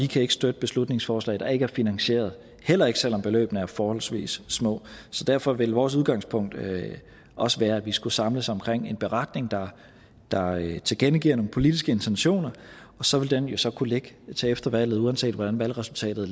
kan støtte beslutningsforslag der ikke er finansieret heller ikke selv om beløbene er forholdsvis små så derfor vil vores udgangspunkt også være at vi skulle samles omkring en beretning der tilkendegiver nogle politiske intentioner og så vil den jo så kunne ligge til efter valget uanset hvordan valgresultatet